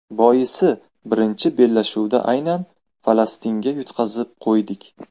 Boisi birinchi bellashuvda aynan Falastinga yutqazib qo‘ydik.